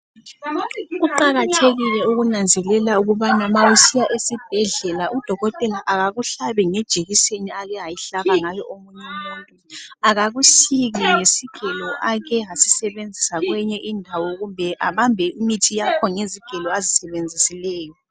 Kuqakathekile ukunanzelela ukubana ma usiya esibhedlela udokotela akakuhlabi ngejekiseni ake wahlaba ngayo omunye umuntu akakusiki ngesigela ake wasisebenzisa kweyinye indawo kumbe abambe imithi yakho ngezigelo azisebenzisileyo.